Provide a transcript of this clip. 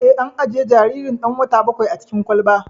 Eh, an ajiye jaririn ɗan wata bakwain a cikin kwalba